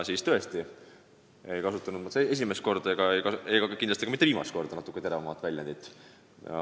Nii et ma tõesti ei kasutanud esimest ega kindlasti ka mitte viimast korda natukene teravamat väljendit.